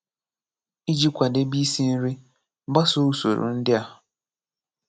Ijị kwadebe isi nri, gbasoo usoro ndị a;